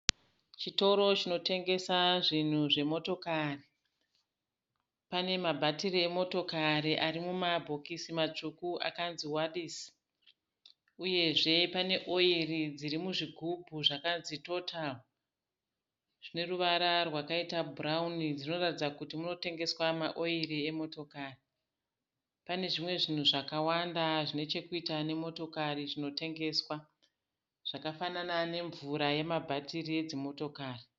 Chitoro chinotengesa zvinhu zvemotokari. Pane ma bhatiri emotokari arimuma bhokisi matsvuku akanzi WALIS. Uyezve pane Oil dziri muzvigubhu zvakanzi Total zvineruvara rwakaita bhurauni dzinoratidza kuti munotengeswa ma Oil emotokari. Pane zvimwe zvinhu zvakawanda zvinechekuita nemotokari zvinotengeswa. Zvakafanana nemvura yema bhatiri edzimotokari .